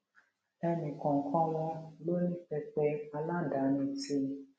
ẹnì kòòkan wọn ló ní pẹpẹ aládani tí